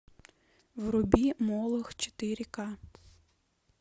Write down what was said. вруби молох четыре ка